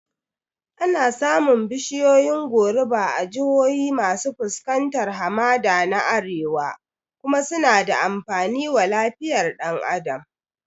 Ana samun bishiyoyin goruba a jihohi masu fuskantar hamada na Arewa kuma suna da amfani wa lafiyar ɗan Adam